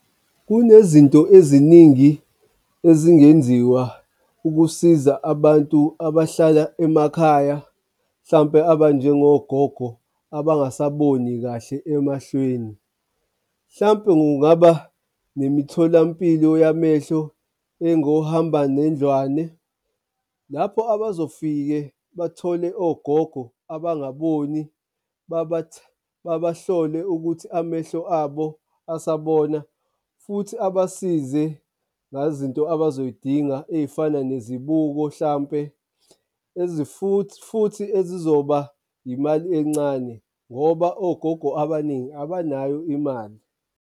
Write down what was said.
Kunezinto eziningi ezingenziwa ukusiza abantu abahlala emakhaya, mhlawumpe abanjengo gogo abangasaboni kahle emahlweni. Hlampe kungaba nemitholampilo yamehlo engohambanendlwane, lapho abazofike bathole ogogo abangaboni babahlole ukuthi amehlo abo asabona futhi abasize ngazinto abazozidinga ey'fana nezibuko hlampe futhi ezizoba imali encane ngoba ogogo abaningi abanayo imali.